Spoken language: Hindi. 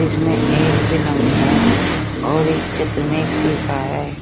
इसमें एक पलंग है और एक चित्र में एक शीशा है।